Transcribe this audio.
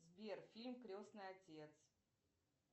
сбер фильм крестный отец